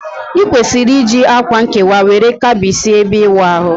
I kwesiri iji akwa nkewa were Kebichie ebe iwu ahu